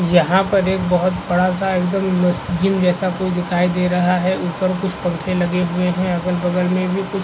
यहाँ पर एक बहोत बड़ा मस्त जिम जैसा कुछ दिखाई दे रहा है ऊपर कुछ पंखा लगे हुए है अगल-बगल में भी कुछ--